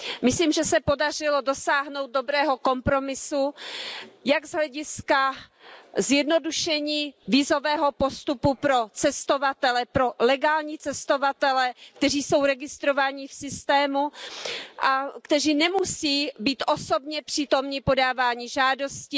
Myslím, že se podařilo dosáhnout dobrého kompromisu z hlediska zjednodušení vízového postupu pro legální cestovatele, kteří jsou registrovaní v systému a kteří nemusí být osobně přítomni podávání žádosti.